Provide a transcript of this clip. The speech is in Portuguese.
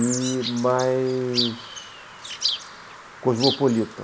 e mais cosmopolita.